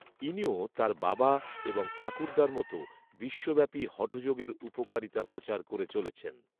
ইনিও তার বাবা এবং ঠাকুরদার মত বিশ্বব্যাপী হঠযোগের উপকারিতা প্রচার করে চলেছেন